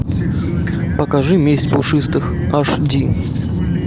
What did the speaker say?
покажи месть пушистых аш ди